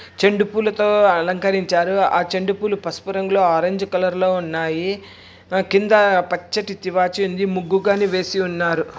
చండి పూలతో అలంకరించారు ఆ చండి పూలు పసుపు రంగులో ఆరెంజ్ కలర్ లో ఉన్నాయి. కింద పచ్చడి తివాచీ ఉంది ముగ్గు గాని వేసి ఉన్నారు